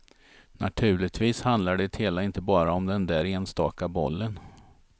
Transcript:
Naturligtvis handlar det hela inte bara om den där enstaka bollen.